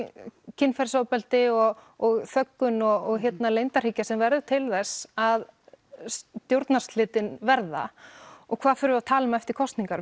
kynferðisofbeldi og og þöggun og leyndarhyggja sem verður til þess að stjórnarslitin verða og hvað förum við að tala um eftir kosningar